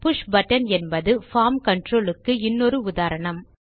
push button என்பது form control க்கு இன்னொரு உதாரணம்